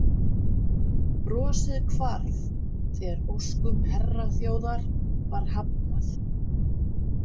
Brosið hvarf þegar óskum herraþjóðar var hafnað.